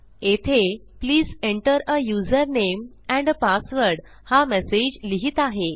येथे please enter uh user name and uh password हा message लिहित आहे